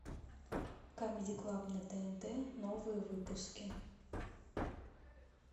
камеди клаб на тнт новые выпуски